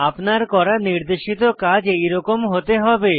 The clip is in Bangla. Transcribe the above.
আপনার করা নির্দেশিত কাজ এরকম হতে হবে